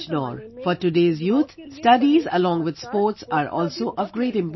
For the youth in today's age, along with studies, sports are also of great importance